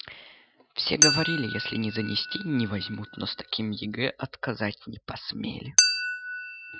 все говорили если не занести не возьмут но с таким егэ отказать не посмели